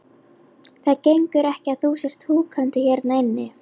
Það gengur ekki að þú sért húkandi hérna inni.